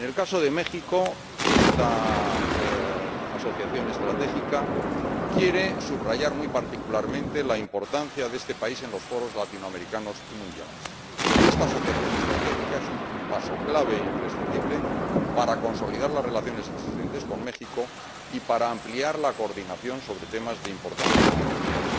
En el caso de México, esta asociación estratégica quiere subrayar muy particularmente la importancia de este país en los foros latinoamericanos y mundiales y, además, es un paso clave e imprescindible para consolidar las relaciones existentes con México y para ampliar la coordinación sobre temas de importancia mundial.